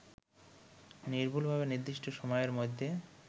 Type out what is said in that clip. নির্ভুলভাবে নির্দিষ্ট সময়ের মধ্যে